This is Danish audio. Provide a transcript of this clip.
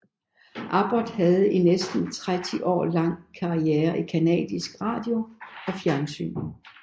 Abbott havde i næsten tretti år lang karriere i canadisk radio og fjernsyn